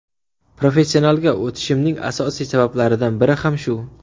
Professionalga o‘tishimning asosiy sabablaridan biri ham shu.